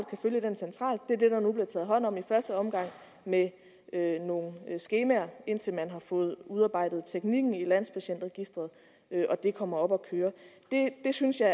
kan følge den centralt det er det der nu bliver taget hånd om i første omgang med nogle skemaer indtil man har fået udarbejdet teknikken i landspatientregisteret og det kommer op at køre jeg synes at